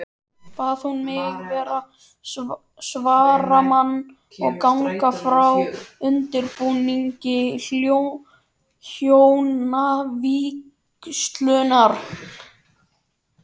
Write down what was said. Bað hún mig vera svaramann og ganga frá undirbúningi hjónavígslunnar.